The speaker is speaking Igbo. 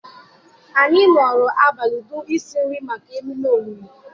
anyị nọrọ abalị dum isi nri maka ememe olili.